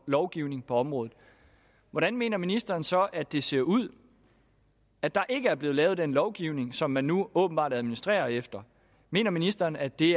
lovgivning på området hvordan mener ministeren så at det ser ud at der ikke er blevet lavet den lovgivning som man nu åbenbart administrerer efter mener ministeren at det